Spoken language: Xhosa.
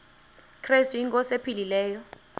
krestu inkosi ephilileyo